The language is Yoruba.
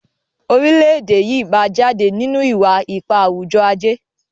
orilẹ-ede yí má jáde nínú iwa-ipa awujọ-aje